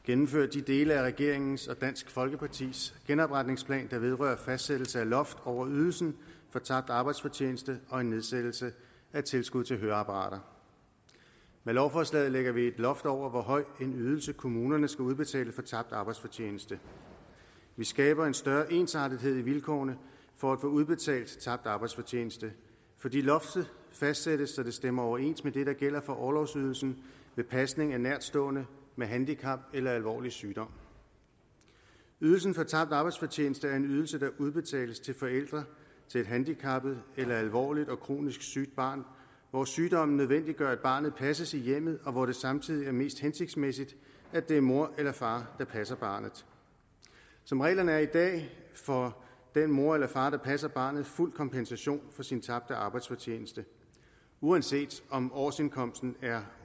gennemfører de dele af regeringens og dansk folkepartis genopretningsplan der vedrører fastsættelse af loft over ydelsen for tabt arbejdsfortjeneste og en nedsættelse af tilskud til høreapparater med lovforslaget lægger vi et loft over hvor høj en ydelse kommunerne skal udbetale for tabt arbejdsfortjeneste vi skaber en større ensartethed i vilkårene for at få udbetalt tabt arbejdsfortjeneste fordi loftet fastsættes så det stemmer overens med det der gælder for orlovsydelsen ved pasning af nærtstående med handicap eller alvorlig sygdom ydelsen for tabt arbejdsfortjeneste er en ydelse der udbetales til forældre til et handicappet eller alvorligt og kronisk sygt barn hvor sygdommen nødvendiggør at barnet passes i hjemmet og hvor det samtidig er mest hensigtsmæssigt at det er mor eller far der passer barnet som reglerne er i dag får den mor eller far der passer barnet fuld kompensation for sin tabte arbejdsfortjeneste uanset om årsindkomsten er